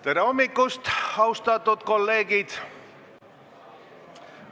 Tere hommikust, austatud kolleegid!